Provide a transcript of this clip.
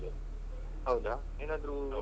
ಹೌದಾ ಏನಾದ್ರು.